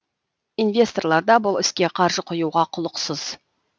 инвесторлар да бұл іске қаржы құюға құлықсыз